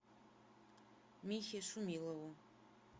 михе шумилову